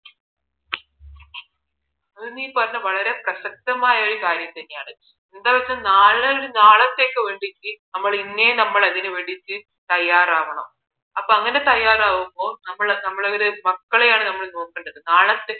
അത് നീ പറഞ്ഞത് വളരെ പ്രസക്തമായ ഒരു കാര്യം തന്നെയാണ് എന്താന്ന് വച്ചാൽ നാളേയൊരു നാളത്തേക്ക് വേണ്ടിയിട്ട് നമ്മൾ ഇന്നേ നമ്മൾ അതിന് വേണ്ടിയിട്ട് തയ്യാറാവണം അപ്പോ അങ്ങനെ തയ്യാറാവുമ്പോൾ നമ്മൾ നമ്മളെ മക്കളെയാണ് നമ്മൾ നോക്കേണ്ടത് നാളത്തെ